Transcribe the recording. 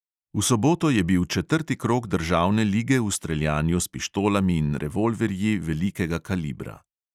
V soboto je bil četrti krog državne lige v streljanju s pištolami in revolverji velikega kalibra.